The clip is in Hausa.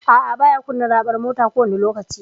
A'a, baya kunna raɓar mota kowani lokaci.